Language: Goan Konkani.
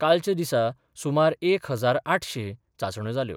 कालच्या दिसा सुमार एक हजार आठशें चाचण्यो जाल्यो.